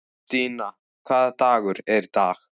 Stína, hvaða dagur er í dag?